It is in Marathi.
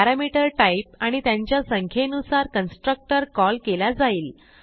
पॅरामीटर टाईप आणि त्यांच्या संख्येनुसार कन्स्ट्रक्टर कॉल केला जाईल